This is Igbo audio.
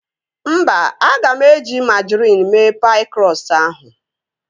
Mba, aga m eji majrin mee paị krọstụ ahụ